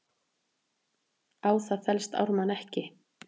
Á það fellst Ármann ekki.